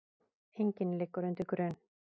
Enginn liggur undir grun